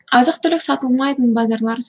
азық түлік сатылмайтын базарлар